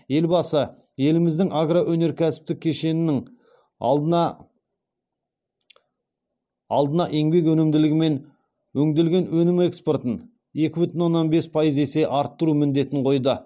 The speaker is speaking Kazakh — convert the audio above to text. елбасы еліміздің агроөнеркәсіптік кешенінің алдына еңбек өнімділігі мен өңделген өнім экспортын екі бүтін оннан бес есе арттыру міндетін қойды